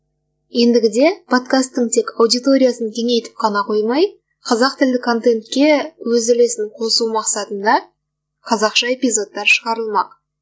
ендігі де подкастың тек аудиториясын кеңейтіп қана қоймай қаэақ тілі контентке өз үлесін қосу мақсатында қазақша эпизодтар шығарылмақ